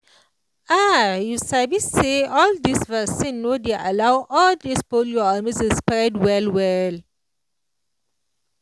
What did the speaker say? ah you sabi say all dis vaccine no dey allow all dis polio or measles spread well well